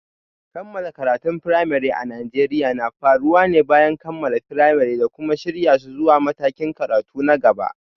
Kammala karatun firamare a Najeriya na faruwa ne bayan kammala firamare da kuma shirya su zuwa matakin karatu na gaba.